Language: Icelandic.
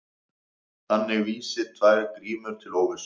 Þannig vísi tvær grímur til óvissu.